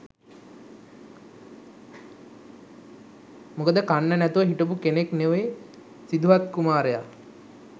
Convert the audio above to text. මොකද කන්න නැතුව හිටපු කෙනෙක් නෙවේ සිදුහත් කුමාරය.